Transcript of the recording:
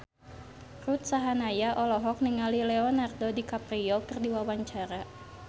Ruth Sahanaya olohok ningali Leonardo DiCaprio keur diwawancara